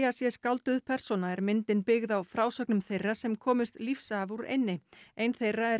sé skálduð persóna er myndin byggð á frásögnum þeirra sem komust lífs af úr eynni ein þeirra er